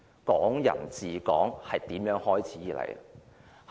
"港人治港"是如何開始？